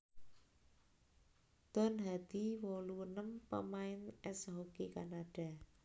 Don Hadi wolu enem pamain ès hoki Kanada